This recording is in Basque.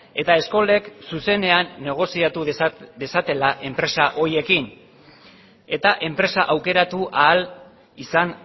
eta eskolek zuzenean negoziatu dezatela enpresa horiekin eta enpresa aukeratu ahal izan